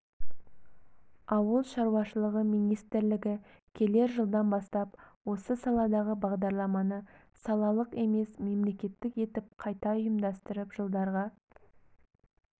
ауыл шаруашылығы министрлігі келер жылдан бастап осы саладағы бағдарламаны салалық емес мемлекеттік етіп қайта ұйымдастырып жылдарға